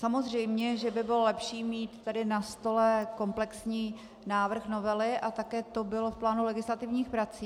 Samozřejmě že by bylo lepší mít tu na stole komplexní návrh novely a také to bylo v plánu legislativních prací.